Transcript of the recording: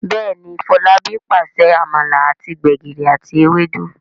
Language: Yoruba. Béèni Folabi pàṣẹ amala àti gbegiri àti Ewédú.